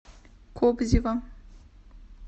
кобзева